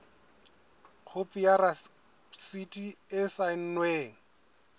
khopi ya rasiti e saennweng